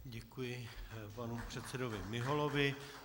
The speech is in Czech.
Děkuji panu předsedovi Miholovi.